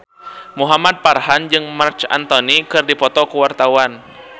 Muhamad Farhan jeung Marc Anthony keur dipoto ku wartawan